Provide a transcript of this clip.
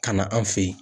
Ka na an fe yen